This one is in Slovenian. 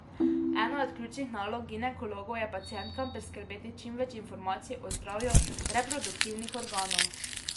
Ena od ključnih nalog ginekologov je pacientkam priskrbeti čim več informacij o zdravju reproduktivnih organov.